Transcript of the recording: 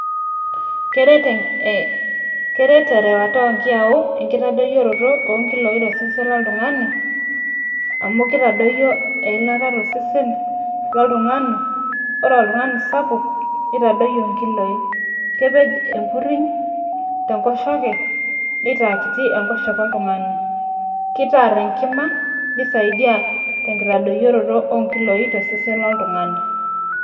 Keret erewata onkiyau enkitadoyioroto onkiloi tosesen loltung'ani, amu kitadoyio eilata tosesen loltung'ani, ore oltung'ani sapuk, nitadoyio nkiloi. Kepej enkurriny tenkoshoke, nitaa kiti enkoshoke oltung'ani. Kitaar enkima, nisaidia tenkitadoyioroto onkiloi tosesen loltung'ani.